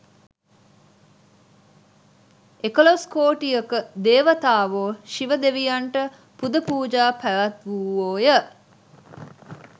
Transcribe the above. එකොළොස් කෝටියක දේවතාවෝ ශිව දෙවියන්ට පුදපූජා පැවැත්වූවෝය.